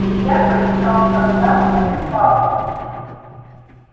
илья поискал в контактах папу